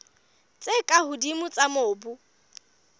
tse ka hodimo tsa mobu